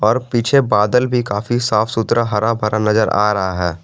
और पीछे बादल भी काफी साफ सुथरा हरा भरा नजर आ रहा है।